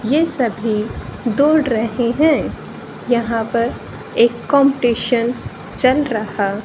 ये सभी दौड़ रहे हैं यहां पर एक कंपटीशन चल रहा--